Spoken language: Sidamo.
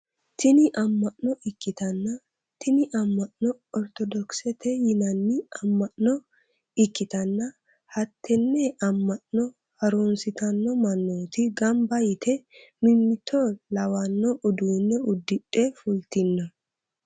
Tini amma'no ikkitanna tini amma'no ortodokisete yinanni amma'no ikitanna hattenne ama'no harunsitanno manooti ganba yite mimito lawanno uduune udidhe fultino.